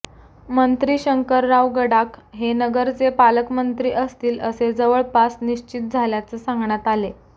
मंत्री शंकरराव गडाख हे नगरचे पालकमंत्री असतील असे जवळपास निश्चित झाल्याचे सांगण्यात आले